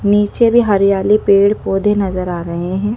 नीचे भी हरियाली पेड़ पौधे नजर आ रहे हैं।